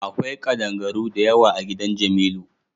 Akwai kaɗangaru da yawa a gidan jamilu.